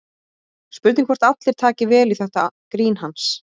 Spurning hvort allir taki vel í þetta grín hans?